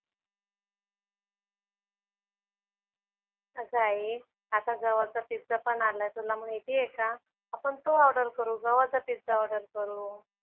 अगं आई आता गव्हाचा पिझ्झा पण आलाय तुला माहिती आहे का? आपण तो ऑर्डर करू. गव्हाचा पिझ्झा ऑर्डर करू.